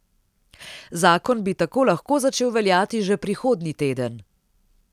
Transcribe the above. Zakon bi tako lahko začel veljati že prihodnji teden.